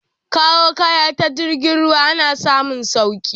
Kawo kaya ta jirgin ruwa ana samun sauki